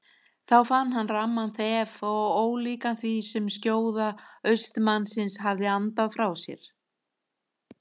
Þá fann hann ramman þef og ólíkan því sem skjóða austanmannsins hafði andað frá sér.